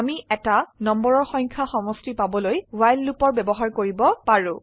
আমি এটা নম্বৰৰ সংখ্যা সমষ্টি পাবলৈ ৱ্হাইল লুপৰ ব্যবহাৰ কৰিব পাৰো